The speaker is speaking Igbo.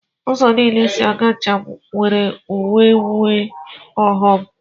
Ụzọ niile esi aga njem nwere uru nwee ọghọm.